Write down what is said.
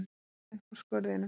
Æða upp úr skurðinum.